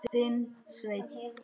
Þinn, Sveinn.